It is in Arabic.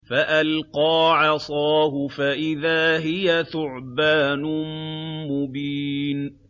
فَأَلْقَىٰ عَصَاهُ فَإِذَا هِيَ ثُعْبَانٌ مُّبِينٌ